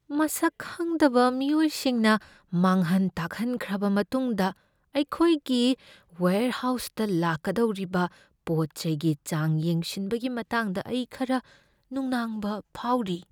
ꯃꯁꯛ ꯈꯪꯗꯕ ꯃꯤꯑꯣꯏꯁꯤꯡꯅ ꯃꯥꯡꯍꯟ ꯇꯥꯛꯍꯟꯈ꯭ꯔꯕ ꯃꯇꯨꯡꯗ ꯑꯩꯈꯣꯏꯒꯤ ꯋꯦꯔꯍꯥꯎꯁꯇ ꯂꯥꯛꯀꯗꯧꯔꯤꯕ ꯄꯣꯠ ꯆꯩꯒꯤ ꯆꯥꯡ ꯌꯦꯡꯁꯤꯟꯕꯒꯤ ꯃꯇꯥꯡꯗ ꯑꯩ ꯈꯔ ꯅꯨꯡꯅꯥꯡꯕ ꯐꯥꯎꯔꯤ꯫